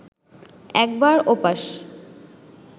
একবার ওপাশ